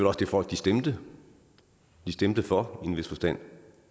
også det folk stemte stemte for i en vis forstand